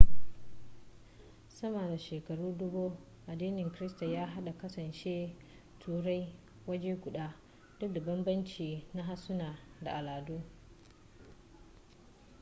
sama da shekara dubu addinin kirista ya haɗe kasashen turai waje guda duk da banbance banbance na harsuna da ala'adu